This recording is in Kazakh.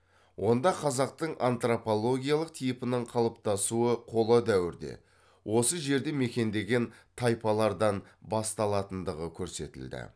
онда қазақтың антропологиялық типінің қалыптасуы қола дәуірде осы жерді мекендеген тайпалардан басталатындығы көрсетілді